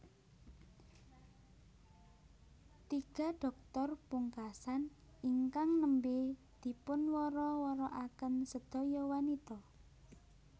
Tiga dhoktor pungkasan ingkang nembé dipunwara warakaken sedaya wanita